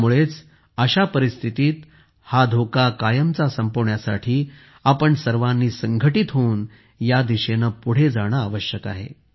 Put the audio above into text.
त्यामुळेच अशा परिस्थितीत हा धोका कायमचा संपवण्यासाठी आपण सर्वांनी संघटित होऊन या दिशेने पुढे जाणे आवश्यक आहे